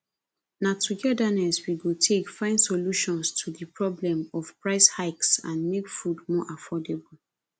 na togetherness we go take find solutions to di problem of price hikes and make food more affordable